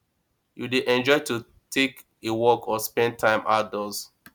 you dey enjoy to take a walk or spend time outdoors